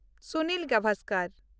Sunil Gavaskar